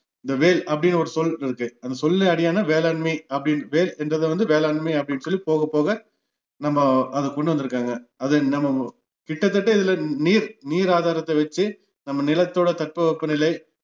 இந்த வேள் அப்படின்னு ஒரு சொல் இருக்கு அந்த சொல்லுல அடியான வேளாண்மை அப்படின்னு வேள் என்றதை வந்து வேளாண்மை அப்படின்னு சொல்லி போக போக நம்ம அதை கொண்டு வந்துருக்காங்க அது நம வ்~ கிட்டத்தட்ட இதுல நீர் நீர் ஆதாரத்தவச்சு நம்ம நிலத்தோட தட்பவெப்பநிலை